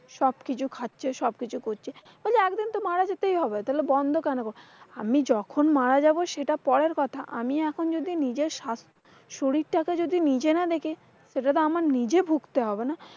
সবকিছু কাছে সবকিছু করছে। একদিন তো মারা যেতেই হবে তাহলে বন্ধ কেন করব? আমি যখন মারা যাবো সেটা পরের কথা, আমি এখন যদি নিজের স্বাস্থ্য, শরীরটাতো যদি নিজে না দেখি। সেটাতো আমার নিজের ভুগতে হবে না?